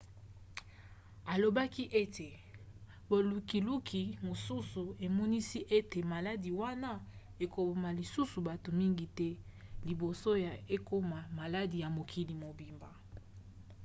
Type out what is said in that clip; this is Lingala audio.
alobaki ete bolukiluki mosusu emonisi ete maladi wana ekoboma lisusu bato mingi te liboso ekomona maladi ya mokili mobimba